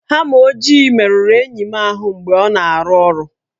Hama ojii merụrụ enyi m ahụ mgbe ọ na-arụ ọrụ